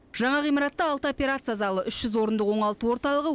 жаңа ғимаратта алты операция залы үш жүз орындық оңалту орталығы